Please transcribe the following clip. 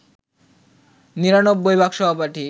নিরানব্বই ভাগ সহপাঠী